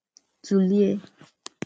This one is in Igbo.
Tụ̀lèè